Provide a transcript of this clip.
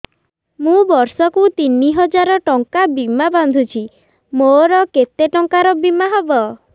ମୁ ବର୍ଷ କୁ ତିନି ହଜାର ଟଙ୍କା ବୀମା ବାନ୍ଧୁଛି ମୋର କେତେ ଟଙ୍କାର ବୀମା ହବ